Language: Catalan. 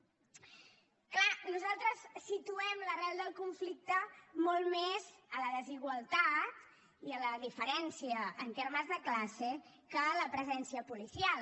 és clar nosaltres situem l’arrel del conflicte molt més en la desigualtat i en la diferència en termes de classe que en la presència policial